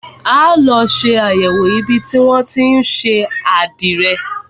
A ó lọ ṣe àyẹ̀wò ibi tí wọn tí ń ṣe àdìrẹ.